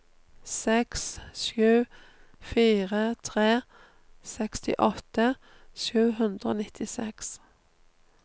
seks sju fire tre sekstiåtte sju hundre og nittiseks